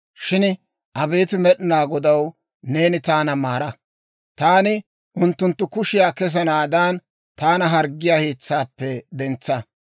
Shin abeet Med'inaa Godaw, neeni taana maara; taani unttunttu kushiyaa kesanaadan, taana harggiyaa hiitsaappe dentsa.